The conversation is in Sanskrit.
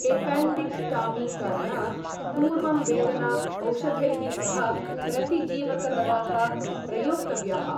एपेण्डिकटॉमी करणात् पूर्वं वेदना औषधैः सह प्रतिजीवकदवाः प्रयोक्तव्याः ।